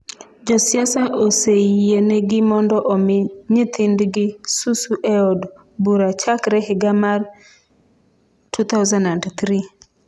Jo siasa oseyienegi mondo omi nyithindgi susu e od bura chakre higa mar 2003.